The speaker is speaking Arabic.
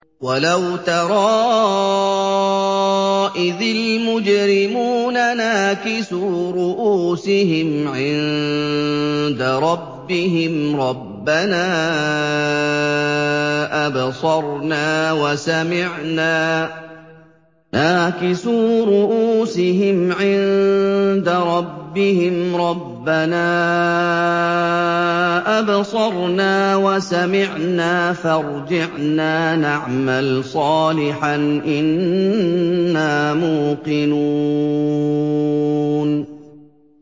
وَلَوْ تَرَىٰ إِذِ الْمُجْرِمُونَ نَاكِسُو رُءُوسِهِمْ عِندَ رَبِّهِمْ رَبَّنَا أَبْصَرْنَا وَسَمِعْنَا فَارْجِعْنَا نَعْمَلْ صَالِحًا إِنَّا مُوقِنُونَ